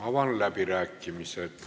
Avan läbirääkimised.